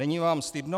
Není vám stydno?